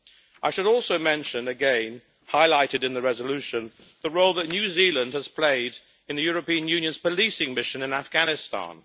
I should also mention again, highlighted in the resolution, the role that New Zealand has played in the European Union's policing mission in Afghanistan.